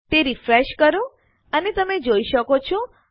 તે રીફ્રેશ કરો અને તમે જોઈ શકો છો